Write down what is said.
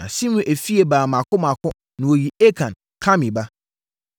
Na Simri efie baa mmaako mmaako na wɔyii Akan, Karmi ba.